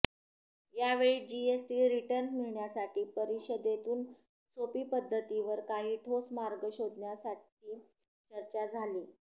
यावेळी GST return मिळण्यासाठी परिषदेतून सोपी पद्धतीवर काही ठोस मार्ग शोधण्यासठी चर्चा झाली